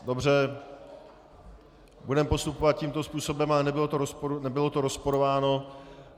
Dobře, budeme postupovat tímto způsobem, ale nebylo to rozporováno.